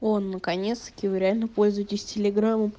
оо наконец-таки вы реально пользуетесь в телеграмом